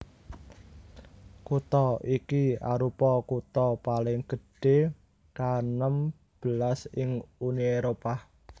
Kutha iki arupa kutha paling gedhé kaenem belas ing Uni Éropah